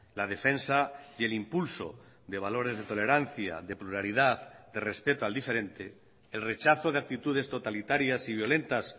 la defensa y el impulso de valores de tolerancia de pluralidad de respeto al diferente el rechazo de actitudes totalitarias y violentas